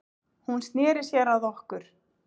Hún sneri sér að okkur